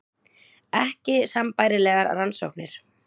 Ekki sambærilegar rannsóknir